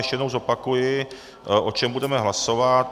Ještě jednou zopakuji, o čem budeme hlasovat.